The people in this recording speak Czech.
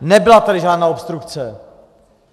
Nebyla tady žádná obstrukce.